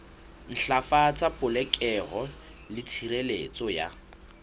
ntlafatsa polokeho le tshireletso ya